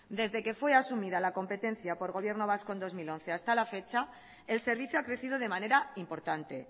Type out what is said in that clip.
desde que fue asumida la competencia por el gobierno vasco en dos mil once hasta la fecha el servicio ha crecido de manera importante